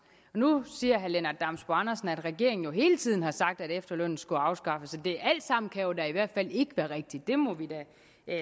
nu siger herre lennart damsbo andersen at regeringen jo hele tiden har sagt at efterlønnen skulle afskaffes det alt sammen kan jo da i hvert fald ikke være rigtigt det må vi da